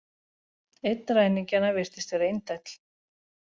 Einn ræningjanna virtist vera indæll